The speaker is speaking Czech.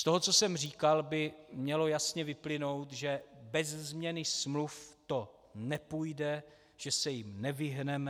Z toho, co jsem říkal, by mělo jasně vyplynout, že beze změny smluv to nepůjde, že se jim nevyhneme.